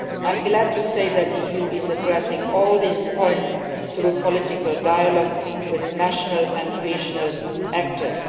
I am glad to say that the EU is addressing all these points through political dialogue with national and regional actors.